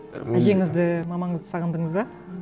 әжеңізді мамаңызды сағындыңыз ба